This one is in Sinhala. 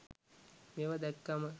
මේව දැක්කම